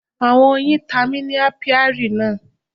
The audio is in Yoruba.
Àwọn oyin ta mi ni Apiary náà.